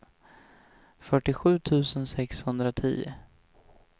fyrtiosju tusen sexhundratio